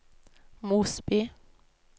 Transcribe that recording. Mosby